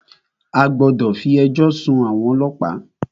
A gbọ́dọ̀ fí ẹjọ́ sún àwọn ọlọ́pàá!